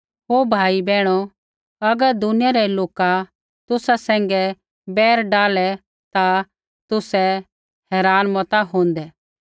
हे भाइयो बैहणा अगर दुनिया रै लोका तुसा सैंघै बैर डाहलै ता तुसै हैरान मता होंदै